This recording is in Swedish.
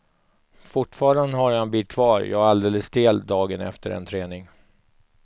Fortfarande har jag en bit kvar, jag är alldeles stel dagen efter en träning.